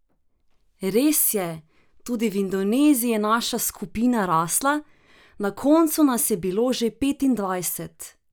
Res je, tudi v Indoneziji je naša skupina rasla, na koncu nas je bilo že petindvajset!